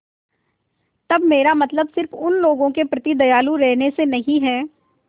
तब मेरा मतलब सिर्फ़ उन लोगों के प्रति दयालु रहने से नहीं है